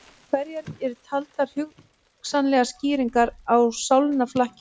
Hverjar eru taldar hugsanlegar skýringar á sálnaflakki?